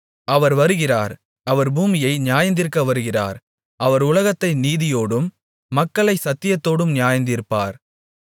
அவர் வருகிறார் அவர் பூமியை நியாயந்தீர்க்க வருகிறார் அவர் உலகத்தை நீதியோடும் மக்களைச் சத்தியத்தோடும் நியாயந்தீர்ப்பார்